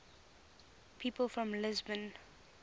people from lisbon